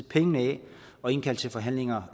penge af og indkalder til forhandlinger